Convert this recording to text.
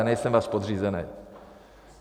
Já nejsem váš podřízenej.